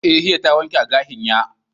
eh hiya ta wanke agashin ya.